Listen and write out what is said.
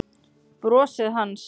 Brosið hans.